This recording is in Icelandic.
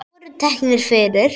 Þeir voru teknir fyrir.